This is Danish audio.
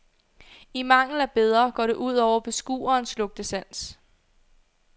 I mangel af bedre går det ud over beskuerens lugtesans.